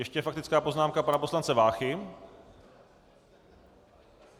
Ještě faktická poznámka pana poslance Váchy.